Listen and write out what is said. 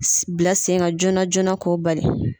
Bila sen ka joona joona ko bali.